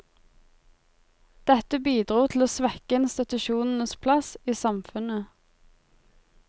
Dette bidro til å svekke institusjonenes plass i samfunnet.